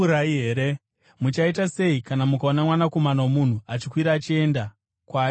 Muchaita sei kana mukaona Mwanakomana woMunhu achikwira achienda kwaaimbova kare!